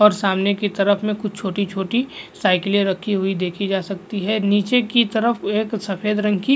सामने की तरफ में कुछ छोटी-छोटी साइलें रखी हुई देखी जा सकती है नीचे की तरफ एक सफेद रंग की --